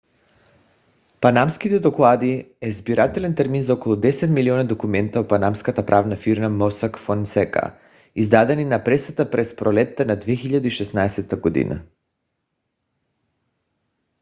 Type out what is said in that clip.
панамските доклади е събирателен термин за около 10 милиона документа от панамската правна фирма mossack fonseca издадени на пресата през пролетта на 2016 г